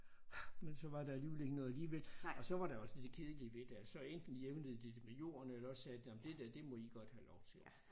Men så var der alligevel ikke noget alligevel og så var der også det kedelige ved det at så enten jævnede de det med jorden eller også sagde de jamen det der det må I godt have lov til